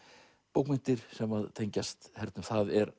bókmenntir sem tengjast hernum það er